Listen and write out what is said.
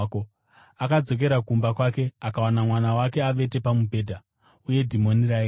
Akadzokera kumba kwake akawana mwana wake avete pamubhedha, uye dhimoni raenda.